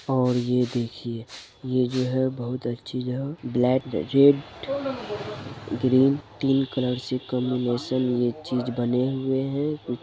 और ये देखिए ये जो है बहुत अच्छी ब्लेक रेड ग्रीन तीन कलर से कॉम्बिनेशन ये चीज़ बने हुए है।